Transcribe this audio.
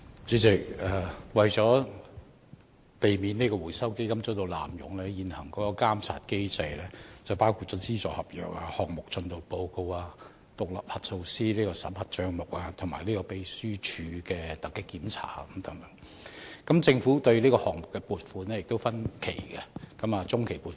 主席，為免基金被濫用，現行的監察機制包括簽署資助合約、提交項目進度報告、委任獨立核數師審核帳目，以及秘書處進行突擊檢查等，而政府亦會就項目分期撥款，包括批予中期及終期撥款。